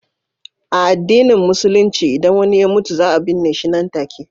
A addinin Musulunci, idan wani ya mutu, za a binne shi nan take.